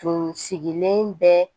Tun sigilen bɛ